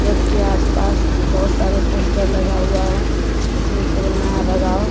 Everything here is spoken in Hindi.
रोड के आसपास बहुत सारे पोस्टर लगा हुआ है जिसमें कोरोना है भगाओ।